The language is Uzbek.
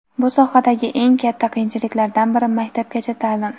Bu sohadagi eng katta qiyinchiliklardan biri - maktabgacha ta’lim.